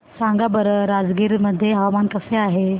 सांगा बरं राजगीर मध्ये हवामान कसे आहे